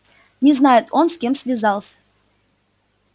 не знает он с кем связался